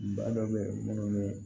Bana dɔ bɛ yen minnu bɛ